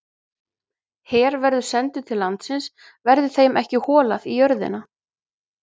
Her verður sendur til landsins verði þeim ekki holað í jörðina.